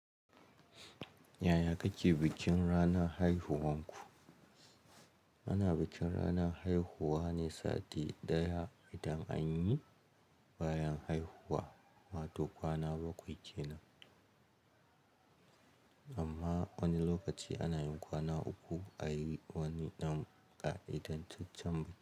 Yaya kike bikin ranar haihuwanku? Ana bikin ranar haihuwa ne sati ɗaya idan anyi bayan haihuwa, wato kwana bakwai kenan. Amma wani lokaci ana yin kwana uku a wani ɗan ƙa'idan cincen ba.